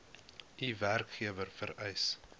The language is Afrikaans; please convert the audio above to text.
u werkgewer vereis